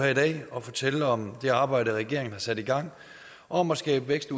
i dag og fortælle om det arbejde regeringen har sat i gang om at skabe vækst